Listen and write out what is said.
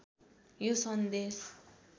यो सन्देश